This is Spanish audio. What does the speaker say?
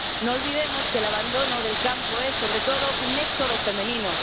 No olvidemos que el abandono del campo es sobre todo un éxodo femenino.